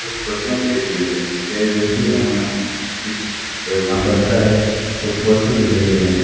कुछ कुर्सियां भी रखी हुई हैं एक बैग भी यहां इस यहां पर खड़ा है कुछ पोस्टर भी लगे हुए हैं।